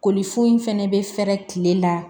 Kolifo in fɛnɛ bɛ fɛɛrɛ kile la